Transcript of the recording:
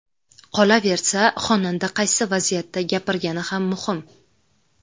Qolaversa, xonanda qaysi vaziyatda gapirgani ham muhim.